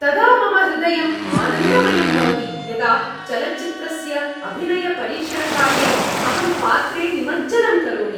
तदा मम हृदयम् आनन्दमयं भवति यदा चलच्चित्रस्य अभिनयपरीक्षणकाले अहं पात्रे निमज्जनं करोमि।